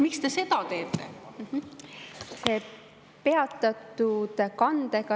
Miks te seda teete?